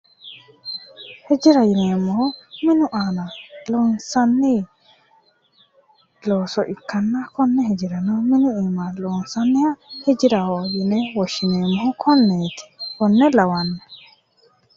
Hijira yineemmohu minu aana loonsanni looso ikkanna konne hijirano minu iima loonsanniha hijiraho yine woshshineemmohu konneeti konne lawanno